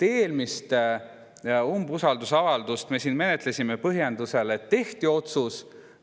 Eelmist umbusaldusavaldust me menetlesime põhjendusel, et tehti otsus.